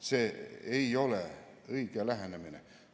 See ei ole õige lähenemine.